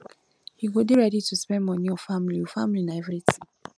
you go dey ready to spend moni on family o family na everytin